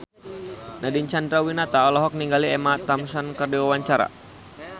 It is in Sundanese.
Nadine Chandrawinata olohok ningali Emma Thompson keur diwawancara